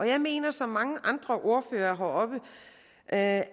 jeg mener som mange andre ordførere at